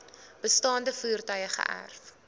bestaande voertuie geërf